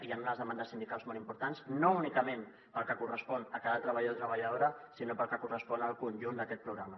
hi han unes demandes sindicals molt importants no únicament pel que correspon a cada treballador o treballadora sinó pel que correspon al conjunt d’aquest programa